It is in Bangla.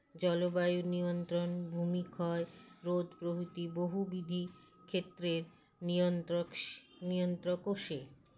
জলবায়ু নিয়ন্ত্রণ ভুমিক্ষয় রোধ প্রভৃতি বহু বিধি ক্ষেত্রে নিয়ন্ত্রক সে নিয়ন্ত্রকও সে